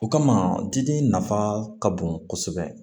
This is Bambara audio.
O kama diden nafa ka bon kosɛbɛ